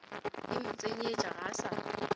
ye motsenyetša ga a sa